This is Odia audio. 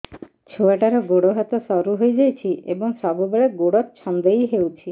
ଛୁଆଟାର ଗୋଡ଼ ହାତ ସରୁ ହୋଇଯାଇଛି ଏବଂ ସବୁବେଳେ ଗୋଡ଼ ଛଂଦେଇ ହେଉଛି